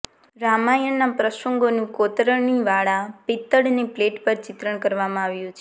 રામાયણના પ્રસંગોનું કોતરણીવાળા પિત્તળને પ્લેટ પર ચિત્રણ કરવામાં આવ્યું છે